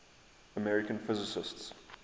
american physicists